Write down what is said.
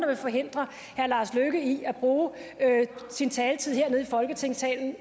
vil forhindre herre lars løkke rasmussen i at bruge sin taletid her i folketingssalen